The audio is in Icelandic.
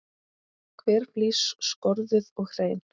Hver flís skorðuð og hrein.